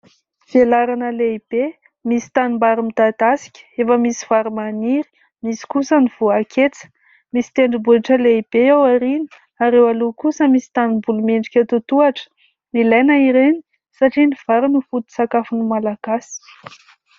Velarana lehibe misy tanimbary midadasika, efa misy vary maniry, misy kosa ny voaketsa. Misy tendrombohitra lehibe aoriana ary eo aloha kosa misy tanimboly miendrika totohitra. Ilaina ireny satria ny vary no foto-tsakafon'ny Malagasy.